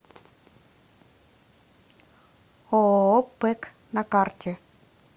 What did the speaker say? ооо пэк на карте